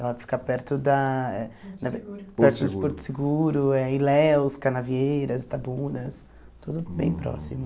Ela fica perto da na ver perto de Porto Seguro, eh Ilhéus, Canavieiras, Itabunas, tudo bem próximo.